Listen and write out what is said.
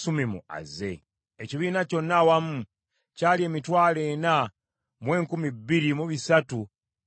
Ekibiina kyonna awamu kyali emitwalo ena mu enkumi bbiri mu bisatu mu nkaaga (42,360),